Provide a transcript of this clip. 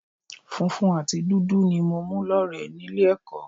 Funfun àti dúdú ni mo mú lọ́rẹ̀ẹ́ nílé ẹ̀kọ́